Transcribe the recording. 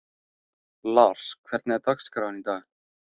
Lars, hvernig er dagskráin í dag?